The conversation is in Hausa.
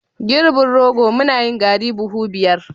girbin rogo, muna yin garri buhu biyar